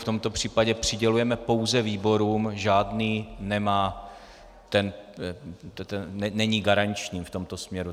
V tomto případě přidělujeme pouze výborům, žádný není garanční v tomto směru.